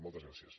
moltes gràcies